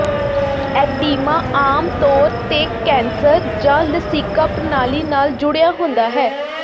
oedema ਆਮ ਤੌਰ ਤੇ ਕੈਂਸਰ ਜਾਂ ਲਸੀਕਾ ਪ੍ਰਣਾਲੀ ਨਾਲ ਜੁੜਿਆ ਹੁੰਦਾ ਹੈ